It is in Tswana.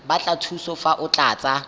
batla thuso fa o tlatsa